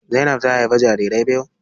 Zainab ta haifi jarirai biyu.